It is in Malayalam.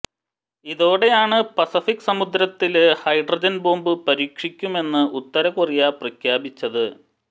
ഇതോടെയാണ് പസഫിക് സമുദ്രത്തില് ഹൈഡ്രജന് ബോംബ് പരീക്ഷിക്കുമെന്ന് ഉത്തരകൊറിയ പ്രഖ്യാപിച്ചത്